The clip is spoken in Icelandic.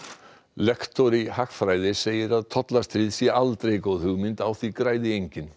lektor í hagfræði segir að tollastríð sé aldrei góð hugmynd á því græði enginn